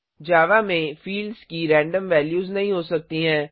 जावा में फिल्ड्स की random values नहीं हो सकती हैं